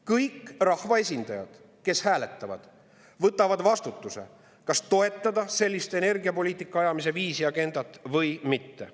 Kõik rahvaesindajad, kes hääletavad, võtavad vastutuse, kas toetada sellist energiapoliitika ajamise viisi, agendat või mitte.